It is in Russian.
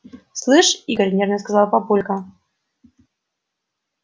слышь игорь нервно сказал папулька